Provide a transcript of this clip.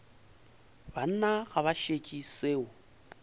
banna ga ba šetše seo